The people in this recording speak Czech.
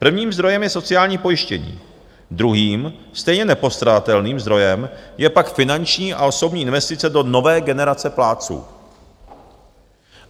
Prvním zdrojem je sociální pojištění, druhým, stejně nepostradatelným zdrojem je pak finanční a osobní investice do nové generace plátců.